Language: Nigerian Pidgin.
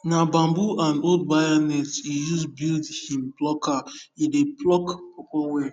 na bamboo and old wire net he use build him pluckere dey pluck pawpaw well